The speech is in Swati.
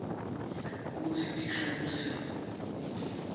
kutsi tisho kutsini